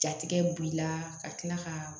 Jatigɛ b'i la ka tila ka